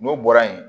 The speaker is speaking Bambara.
N'o bɔra yen